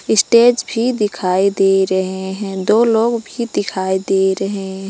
Stage भी दिखाई दे रहे हैं दो लोग भी दिखाई दे रहे हैं।